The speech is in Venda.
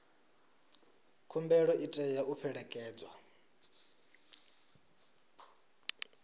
khumbelo i tea u fhelekedzwa